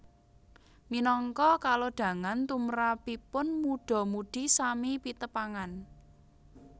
Minangka kalodhangan tumrapipun mudha mudhi sami pitepangan